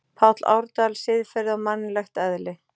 Páll Árdal, Siðferði og mannlegt eðli.